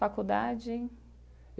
Faculdade?